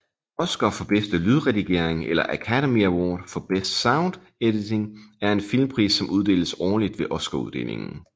Oscar for bedste lydredigering eller Academy Award for Best Sound Editing er en filmpris som uddeles årligt ved Oscaruddelingen